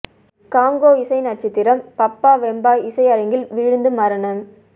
Congo இசை நட்சத்திரம் Papa Wemba இசை அரங்கில் விழுந்து மரணம்